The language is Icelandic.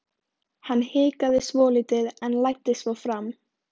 Hann hikaði svolítið en læddist svo fram.